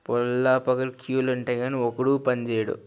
పొల్ల పొదలు క్యూలు ఉంటాయి కానీ ఒక్కడూ పని చేయడు.